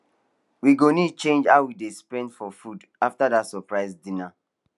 we go need change how we dey spend for food after that surprise dinner